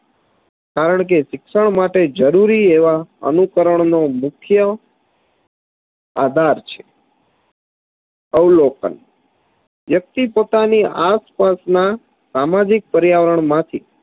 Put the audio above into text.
કારણકે શિક્ષણ માટે જરૂરી એવા અનુકરણનો મુખ્ય આધાર છે અવલોકન વ્યક્તિ પોતાની આસપાસના સામાજિક પર્યાવરણમાંથી